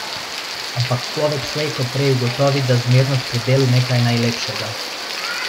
Ampak človek slej ko prej ugotovi, da zmernost pri delu nekaj najlepšega.